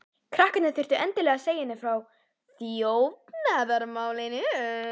Krakkarnir þurftu endilega að segja henni frá þjófnaðarmálinu.